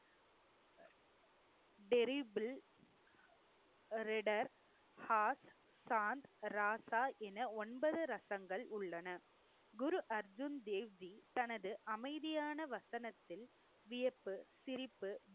ராசா என ஒன்பது ரசங்கள் உள்ளன. குரு அர்ஜுன் தேவ்ஜி தனது அமைதியான வசனத்தில் வியப்பு சிரிப்பு